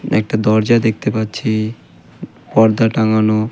একটা দরজা দেখতে পাচ্ছি পর্দা টাঙ্গানো।